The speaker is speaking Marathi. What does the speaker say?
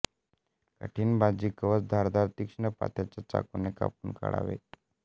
कठीण बीजकवच धारदार तीक्ष्ण पात्याच्या चाकूने कापून काढावे